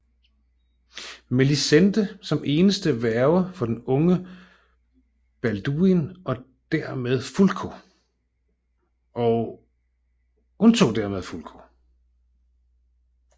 Melisende som eneste værge for den unge Balduin og undtog dermed Fulko